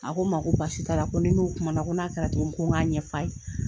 A ko n ma ko basi t'a la, ko ni n'u kuma na, ko n'a kɛra togo min, ko n ga ɲɛf'a ye.